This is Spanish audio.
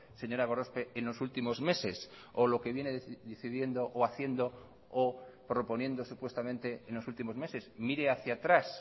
señora gorospe en los últimos meses o lo que viene decidiendo o haciendo o proponiendo supuestamente en los últimos meses mire hacia atrás